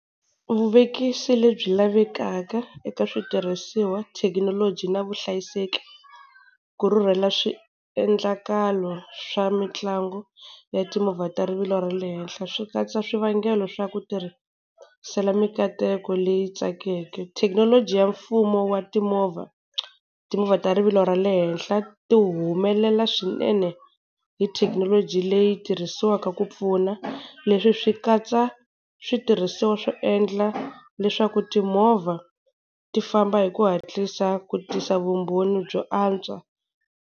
Vuvekisi lebyi lavekaka eka switirhisiwa thekinoloji, na vuhlayiseki ku rhurhela swiendlakalo swa mitlangu ya timovha ta rivilo ra le henhla, swi katsa swivangelo swa ku tirhisela mikateko leyi tsakeke. Thekinoloji ya mfumo wa timovha, timovha ta rivilo ra le henhla ti humelela swinene hi thekinoloji leyi tirhisiwaka ku pfuna. Leswi swi katsa switirhisiwa swo endla leswaku timovha ti famba hi ku hatlisa ku tisa vumbhoni byo antswa.